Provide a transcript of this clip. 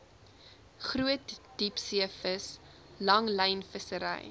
groot diepseevis langlynvissery